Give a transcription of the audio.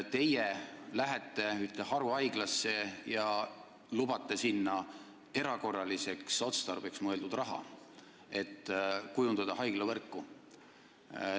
Teie lähete ühte haruhaiglasse ja lubate sellele erakorraliseks otstarbeks mõeldud raha, et kujundada haiglavõrku.